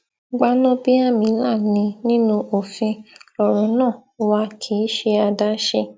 gbanábíàmílà ni nínú òfin lọrọ náà wà kì í ṣe àdáṣe